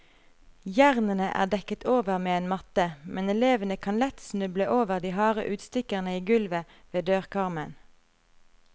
Jernene er dekket over med en matte, men elevene kan lett snuble over de harde utstikkerne i gulvet ved dørkarmen.